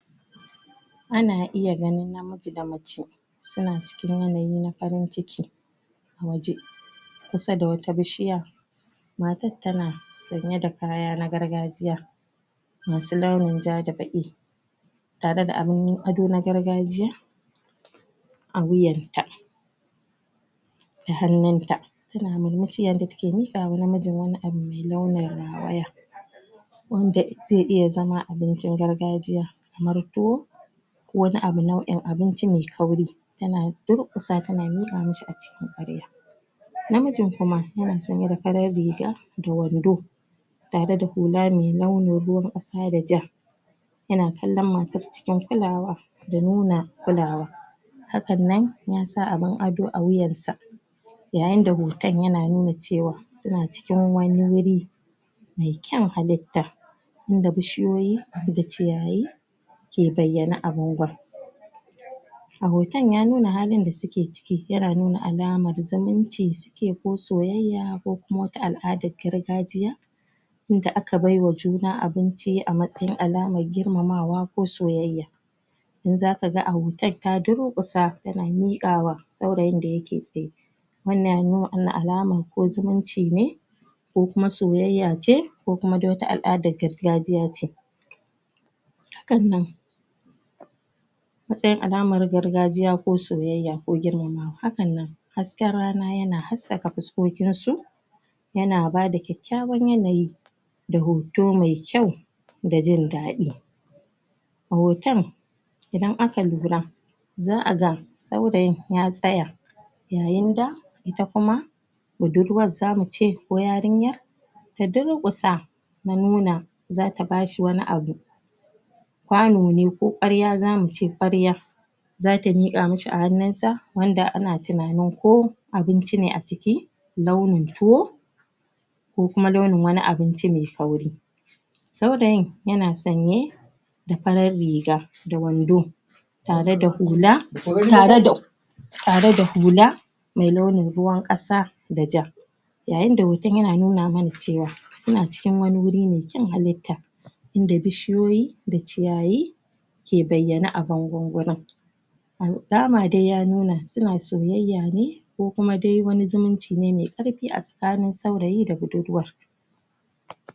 ana iya ganin namiji da mace suna cikin yanayi na farin ciki a waje kusa da wata bishiya matar tana sanye da kaya na gargajiya masu launin ja da baƙi tare da abin ado na gargajiya a wuyatta da hannunta tana murmushi yayinda take miƙawa namijin wani abu mai launin rawaya wanda zai iya zama abincin gargajiya kamar tuwo ko wani abu nau'in abinci mai kauri tana durƙusa tana miƙa mishi a cikin kwarya namijin kuma yana sanye da farar riga da wando tare da hula mai launin ruwan ƙasa da ja yana kallon matar cikin kulawa da nuna kulawa hakannan ya sa abin ado a wuyansa yayin da hoton yana nuna cewa suna cikin wani wuri me kyan halitta inda bishiyoyi da ciyayi ke bayyane a bangon a hoton ya nuna halin da suke ciki yana nuna alamar zumunci suke ko soyayya ko kuma wata al'adar gargajiya inda aka baiwa juna abinci a matsayin alamar girmamawa ko soyayya don zakaga a hoton ta durƙusa tana miƙawa saurayin da yake tsaye wannan ya nuna ana alaman ko zumunci ne ko kuma soyayya ce ko kuma dai wata al'adan gargajiya ce hakannan matsayin alamar gargajiya ko soyayya ko girmamawa hakannan hasken rana yana haskaka fuskokinsu yana bada kyakykyawan yanayi da hoto me kyau da jin daɗi hoton idan aka lura za'a ga saurayin ya tsaya yayinda ita kuma budurwar zamu ce ko yarinyar ta durƙusa na nuna zata bashi wani abu kwano ne ko kwarya zamuce, kwarya zata miƙa masa a hannunsa wanda ana tunanin ko abinci ne a ciki launin tuwo ko kuma launin wani abinci mai kauri saurayin yana sanye da farar riga da wando tare da hula tare da tare da hula me launin ruwan ƙasa da ja yayinda hoton yana nuna mana cewa suna cikin wani wuri me kyan halitta inda bishiyoyi da ciyayi ke bayyane a bangon gurin alama dai ya nuna suna soyayya ne ko kuma wani zumunci ne me ƙarfi a tsakanin saurayi da budurwar